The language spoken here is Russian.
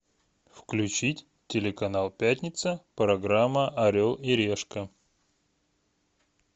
включить телеканал пятница программа орел и решка